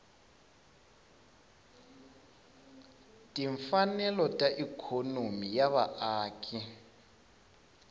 timfanelo ta ikhonomi ya vaaki